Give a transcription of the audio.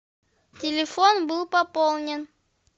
телефон был пополнен